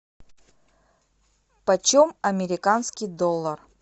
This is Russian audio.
почем американский доллар